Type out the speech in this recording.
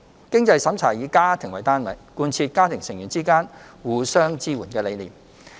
經濟審查以家庭為單位，貫徹家庭成員之間互相支援的理念。